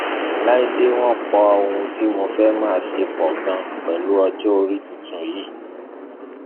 láìdè wọn pọ ohun tí mo fẹẹ máa ṣe pọ ganan pẹlú ọjọ orí tuntun yìí